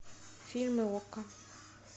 фильмы окко